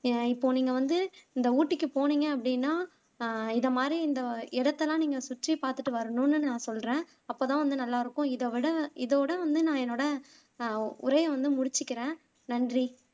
எ இப்போ நீங்க வந்து இந்த ஊட்டிக்கு போனிங்க அப்படின்னா அஹ் இத மாதிரி இந்த இடத்தெல்லாம் நீங்க சுற்றி பாத்துட்டு வரணுன்னு நான் சொல்லுறேன் அப்போதான் வந்து நல்லா இருக்கும் இத விட இதோட வந்து நான் என்னோட அஹ் உரைய வந்து முடிச்சுக்குறேன் நன்றி